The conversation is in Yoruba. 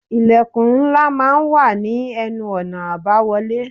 Ilẹ̀kùn ńlá máa ń wà ní ẹnu-ọ̀nà àbáwọlé.